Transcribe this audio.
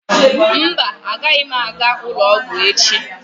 Mba, agaghị m aga ụlọ ọgwụ echi.